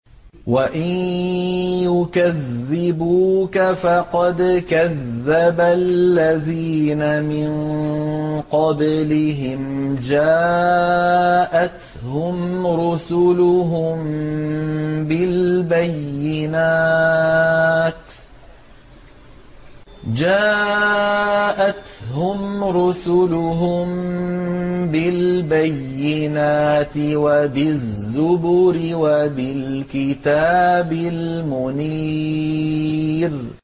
وَإِن يُكَذِّبُوكَ فَقَدْ كَذَّبَ الَّذِينَ مِن قَبْلِهِمْ جَاءَتْهُمْ رُسُلُهُم بِالْبَيِّنَاتِ وَبِالزُّبُرِ وَبِالْكِتَابِ الْمُنِيرِ